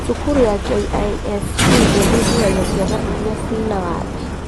Cukuru ya KISE ĩthuthuragia ciana iria ciĩna wathe